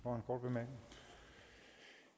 men